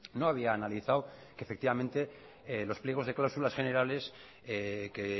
no había analizado que efectivamente los pliegos de cláusulas generales que